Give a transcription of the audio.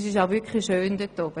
Es ist wirklich schön dort oben.